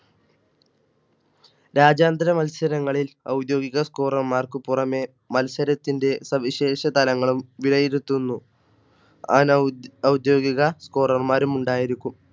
രാജ്യാന്തര മത്സരങ്ങളിൽ ഔദ്യോഗിക Score റർ മാർക്ക് പുറമേ മത്സരത്തിന്റെ സവിശേഷതലങ്ങളുംവിലയിരുത്തുന്നു. അനൗദ്യോഗിക Score റർമാരും ഉണ്ടായിരിക്കും